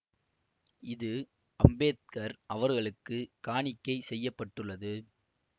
இத்திரைப்படம் இந்து சாதி முறையை பற்றியது ஆகும் இப் படத்தை சஞ்சீவ் மெய்சுவால் இயக்கினார்